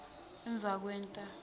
emvakwenta